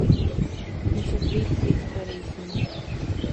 In še dve petperesni!